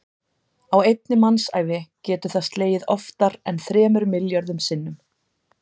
Á einni mannsævi getur það slegið oftar en þremur milljörðum sinnum.